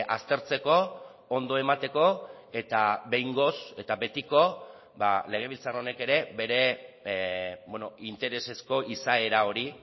aztertzeko ondo emateko eta behingoz eta betiko legebiltzar honek ere bere interesezko izaera hori